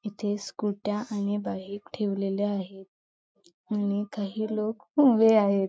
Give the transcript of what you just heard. इथे स्कुटया आणि बाईक ठेवलेल्या आहेत आणि काही लोक उभे आहेत.